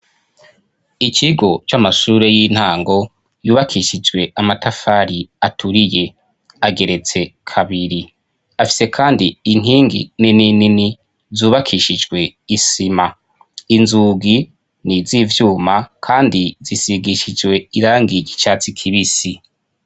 Ikigo c'amashure y'intango yubakishijwe amatafari aturiye ageretse kabiri afise kandi inkingi nininini zubakishijwe isima, inzugi n'izivyuma kandi zisigishijwe irangi ry'igicatsi kibisi.